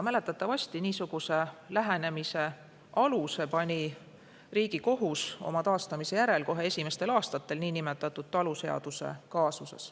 Mäletatavasti pani niisugusele lähenemisele aluse Riigikohus kohe esimestel aastatel selle taastamise järel niinimetatud taluseaduse kaasuses.